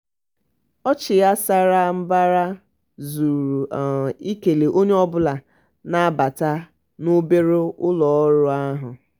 ọchị ya sara um mbara zuru um ikele onye ọbụla na-abata n'obere ụlọọrụ um ahụ.